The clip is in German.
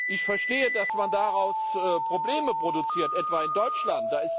Ich verstehe, dass man daraus Probleme produziert, etwa in Deutschland.